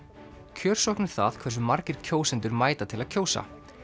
kjörsókn er það hversu margir kjósendur mæta til að kjósa